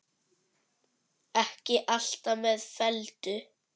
Ekki allt með felldu